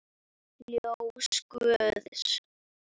Ljós guðs.